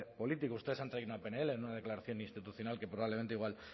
político ustedes han traído una pnl no una declaración institucional que probablemente igual